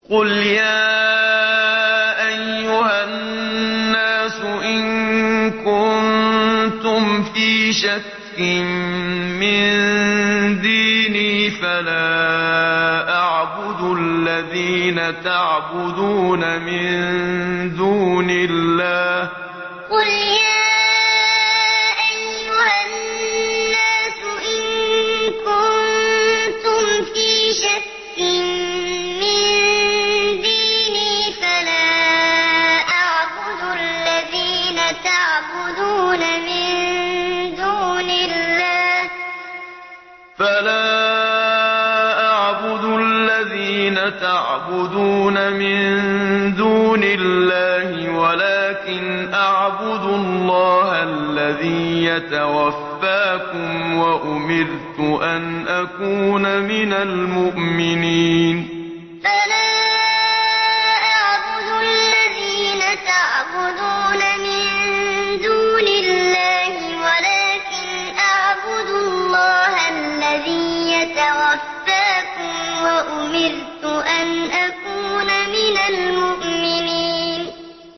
قُلْ يَا أَيُّهَا النَّاسُ إِن كُنتُمْ فِي شَكٍّ مِّن دِينِي فَلَا أَعْبُدُ الَّذِينَ تَعْبُدُونَ مِن دُونِ اللَّهِ وَلَٰكِنْ أَعْبُدُ اللَّهَ الَّذِي يَتَوَفَّاكُمْ ۖ وَأُمِرْتُ أَنْ أَكُونَ مِنَ الْمُؤْمِنِينَ قُلْ يَا أَيُّهَا النَّاسُ إِن كُنتُمْ فِي شَكٍّ مِّن دِينِي فَلَا أَعْبُدُ الَّذِينَ تَعْبُدُونَ مِن دُونِ اللَّهِ وَلَٰكِنْ أَعْبُدُ اللَّهَ الَّذِي يَتَوَفَّاكُمْ ۖ وَأُمِرْتُ أَنْ أَكُونَ مِنَ الْمُؤْمِنِينَ